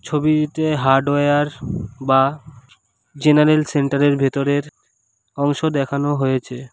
ছবিতে হার্ডওয়্যার বা general centre এর ভেতরের অংশ দেখানো হয়েছে।